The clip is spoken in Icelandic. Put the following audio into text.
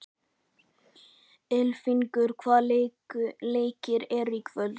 Ylfingur, hvaða leikir eru í kvöld?